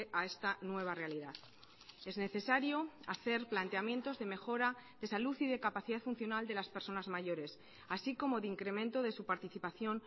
a esta nueva realidad es necesario hacer planteamientos de mejora de salud y de capacidad funcional de las personas mayores así como de incremento de su participación